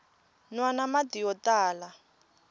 nwana mati yo tala